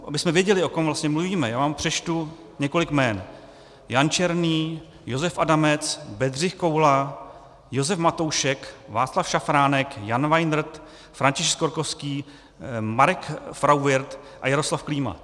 Abychom věděli, o kom vlastně mluvíme, já vám přečtu několik jmen: Jan Černý, Josef Adamec, Bedřich Koula, Josef Matoušek, Václav Šaffránek, Jan Weinert, František Skorkovský, Marek Frauwirth a Jaroslav Klíma.